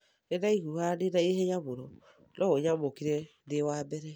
Nĩ ndaiguaga ndĩ na ihenya mũno no ũnyamũkĩre ndi wa mbere